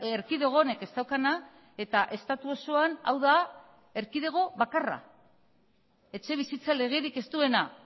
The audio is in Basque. erkidego honek ez daukana eta estatu osoan hau da erkidego bakarra etxebizitza legerik ez duena